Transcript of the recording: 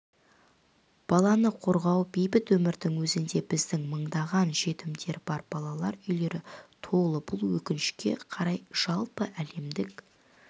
баланы қорғау бейбіт өмірдің өзінде бізде мыңдаған жетімдер бар балалар үйлері толы бұл өкінішке қарай жалпыәлемдік